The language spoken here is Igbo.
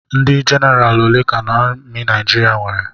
Ndị jenaraal ole ka amị Naijiriia nwere?